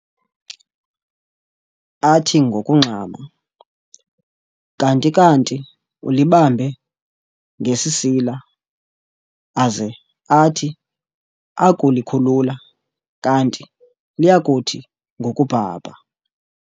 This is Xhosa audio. athi ngokungxama, kanti kanti ulibambe ngesisila, aze athi akulikhulula kanti liyakuthi ngokubhabha